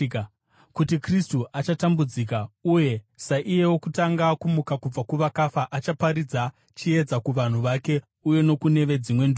kuti Kristu achatambudzika, uye, saiye wokutanga kumuka kubva kuvakafa achaparidza chiedza kuvanhu vake uye nokune veDzimwe Ndudzi.”